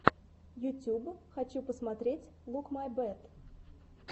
ютюб хочу посмотреть лук май бэт